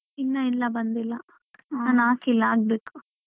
ಇನ್ನ ಇಲ್ಲ ಬಂದಿಲ್ಲ ನಾನ್ ಹಾಕಿಲ್ಲ ಹಾಕ್ಬೇಕು.